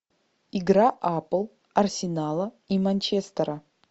игра апл арсенала и манчестера